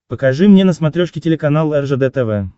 покажи мне на смотрешке телеканал ржд тв